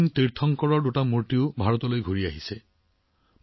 জৈন তীৰ্থংকৰৰ দুটা শিলৰ মূৰ্তিও ভাৰতলৈ উভতাই অনা হৈছে